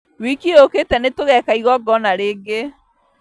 Wiki yũkĩte nĩtũgeka igongona ringĩ